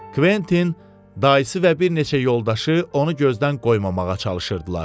Kventin dayısı və bir neçə yoldaşı onu gözdən qoymamağa çalışırdılar.